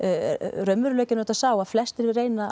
raunveruleikinn er auðvitað sá að flestir reyna